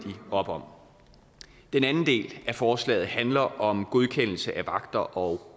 op om den anden del af forslaget handler om godkendelse af vagter og